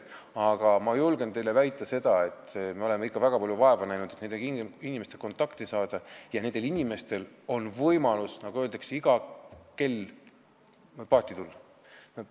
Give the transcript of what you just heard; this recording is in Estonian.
Aga ma julgen teile väita, et me oleme väga palju vaeva näinud, et nende inimestega kontakti saada, ja neil on võimalus, nagu öeldakse, iga kell paati tulla.